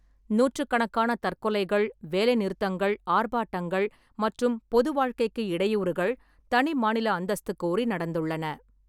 நூற்றுக்கணக்கான தற்கொலைகள், வேலைநிறுத்தங்கள், ஆர்ப்பாட்டங்கள், மற்றும் பொதுவாழ்க்கைக்கு இடையூறுகள், தனி மாநில அந்தஸ்து கோரி நடந்துள்ளன.